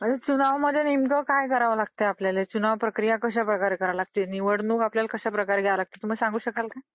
चुनाव मध्ये नेमकं काय करावं लागतं आपल्याला? चुनाव प्रक्रिया कश्या प्रकारे करावी लागते? निवडणूक आपल्याला कश्या प्रकारे घ्यावी लागते? तुम्ही शकाल का?